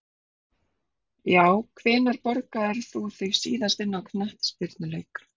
Já Hvenær borgaðir þú þig síðast inn á knattspyrnuleik?